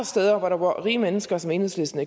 steder hvor der bor rige mennesker som enhedslisten